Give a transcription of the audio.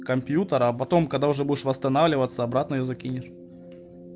компьютер а потом когда уже будешь восстанавливаться обратно её закинешь